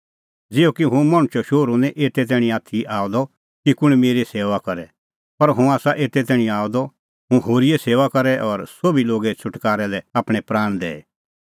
ज़िहअ कि हुंह मणछो शोहरू निं एते तैणीं आथी आअ द की कुंण मेरी सेऊआ करे पर हुंह आसा एते तैणीं आअ द कि हुंह होरीए सेऊआ करे और सोभी लोगे छ़ुटकारै लै आपणैं प्राण दैए